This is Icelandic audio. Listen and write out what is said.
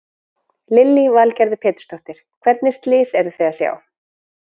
Lillý Valgerður Pétursdóttir: Hvernig slys eruð þið að sjá?